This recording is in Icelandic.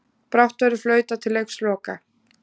Brátt verður flautað til leiksloka